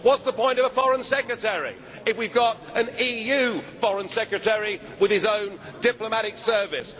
What is the point of a Foreign Secretary if we have got an EU foreign secretary with his own diplomatic service?